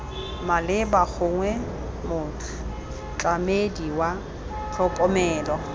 maleba gongwe motlamedi wa tlhokomelo